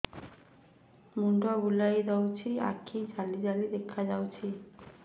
ମୁଣ୍ଡ ବୁଲେଇ ଦଉଚି ଆଖି ଜାଲି ଜାଲି ଦେଖା ଯାଉଚି